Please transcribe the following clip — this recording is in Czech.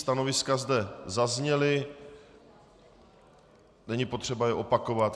Stanoviska zde zazněla, není potřeba je opakovat.